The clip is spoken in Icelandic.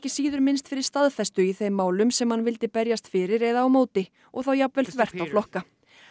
síður minnst fyrir staðfestu í þeim málum sem hann vildi berjast fyrir eða á móti og þá jafnvel þvert á flokka